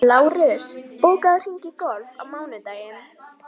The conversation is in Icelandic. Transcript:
Lárus, bókaðu hring í golf á mánudaginn.